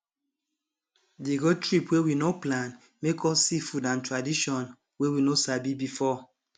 di road trip wey we nor plan make us see food and tradition wey we nor sabi before